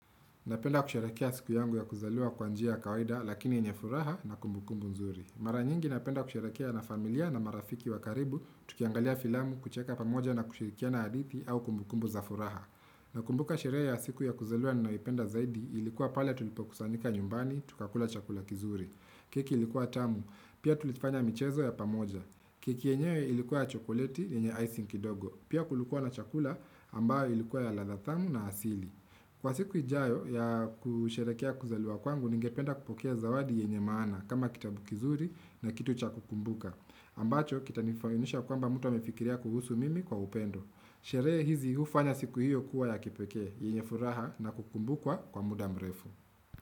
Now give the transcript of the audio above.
Napenda kusherehekea siku yangu ya kuzaliwa kwa njia ya kawaida lakini yenye furaha na kumbukumbu nzuri. Mara nyingi napenda kusharekea na familia na marafiki wa karibu, tukiangalia filamu, kucheka pamoja na kushirikiana hadithi au kumbukumbu za furaha. Nakumbuka sherehe ya siku ya kuzaliwa ninaipenda zaidi ilikuwa pale tulipokusanika nyumbani, tukakula chakula kizuri. Keki ilikuwa tamu, pia tulifanya michezo ya pamoja. Keki yenyewe ilikuwa ya chokoleti lenye icing kidogo, pia kulikuwa na chakula ambayo ilikuwa ya ladha thamu na asili. Kwa siku ijayo ya kusherekea kuzaliwa kwangu, ningependa kupokea zawadi yenye maana kama kitabu kizuri na kitu cha kukumbuka. Ambacho, kita nifahimisha kwamba mtu amefikiria kuhusu mimi kwa upendo. Sherehe hizi hufanya siku hiyo kuwa ya kipekee, yenye furaha na kukumbukwa kwa muda mrefu.